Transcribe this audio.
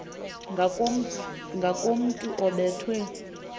ngakomntu obe thwe